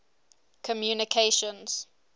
communications